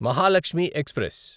Mahalakshmi express